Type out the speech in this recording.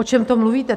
O čem to mluvíte?